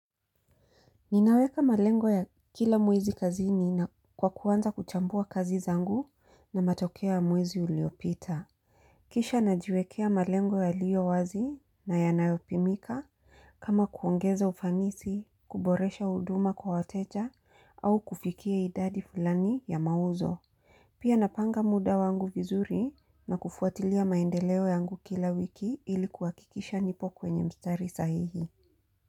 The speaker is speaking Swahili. Ninaweka malengo ya kila mwezi kazini na kwa kuwanza kuchambua kazi zangu na matokea ya mwezi uliopita Kisha najiwekea malengo ya liyo wazi na yanayopimika kama kuongeza ufanisi, kuboresha huduma kwa wateja au kufikia idadi fulani ya mauzo Pia napanga muda wangu vizuri na kufuatilia maendeleo yangu kila wiki ilikuwa kikisha nipo kwenye mstari sahihi.